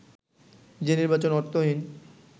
যে নির্বাচন অর্থহীন